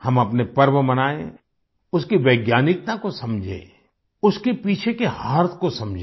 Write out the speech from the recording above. हम अपने पर्व मनाएँ उसकी वैज्ञानिकता को समझे उसके पीछे के अर्थ को समझे